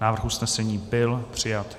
Návrh usnesení byl přijat.